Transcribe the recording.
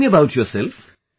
Tell me about yourself